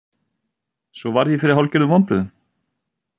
Svo varð ég fyrir hálfgerðum vonbrigðum.